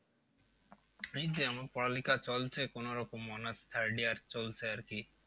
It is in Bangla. এই যে আমার পড়ালেখা চলছে কোনো রকম honours third year চলছে আর কি